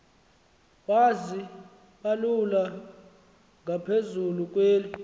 wazibalula ngaphezulu kweli